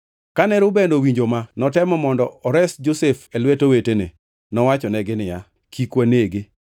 Kane Reuben owinjo ma notemo mondo ores Josef e lwet owetene. Nowachonegi niya, “Kik wanege.